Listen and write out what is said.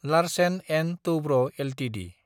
Larsen & Toubro Ltd